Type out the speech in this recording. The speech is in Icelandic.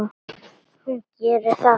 Hún gerir það.